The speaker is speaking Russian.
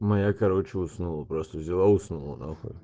моя короче уснула просто взяла и уснула на хуй